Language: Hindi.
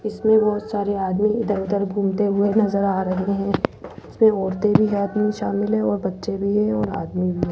इसमें बहोत सारे आदमी इधर-उधर घूमते हुए नजर आ रहे हैं जिसपे औरते भी में शामिल है और बच्चे भी है और आदमी भी है।